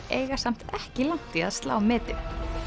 eiga samt ekki langt í að slá metið